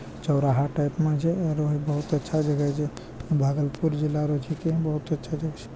चौराहा टाइप म छे आरो इ बहुत अच्छा जगह छे । भागलपुर जिला रो छिके बहुत अच्छा जक्श --